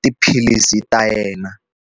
tiphilisi ta yena.